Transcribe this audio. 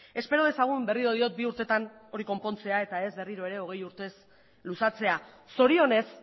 espero dezagun berriro diot bi urtetan hori konpontzea eta ez berriro ere hogei urtez luzatzea zorionez